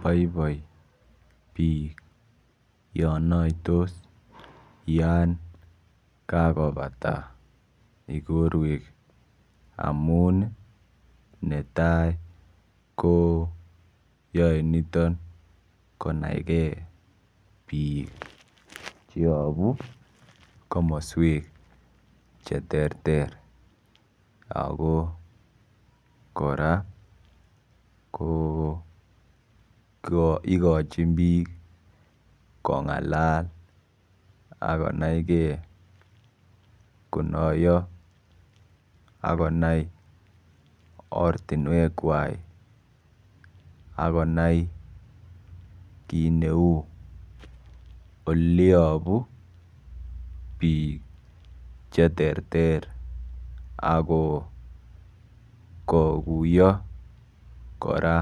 Boiboi biik yo noitos Yan kakobata ikorwek amun netai ko yoe niton konaigei biik yopu komoswek che ter ter ako kora ko ikochin biik kongalal akonaigei konoiyo akonai ortinwek kwai akonai kiit neu oiliyopu biik che ter ter ako kokuyo kora